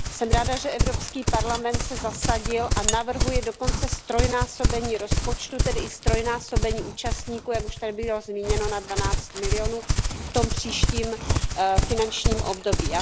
Jsme ráda, že Evropský parlament se zasadil a navrhuje dokonce ztrojnásobení rozpočtu, tedy i ztrojnásobení účastníků, jak už tady bylo zmíněno na 12 milionů EUR v tom příštím finančním období.